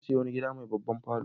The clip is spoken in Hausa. Na sayi wani gida mai babban falo.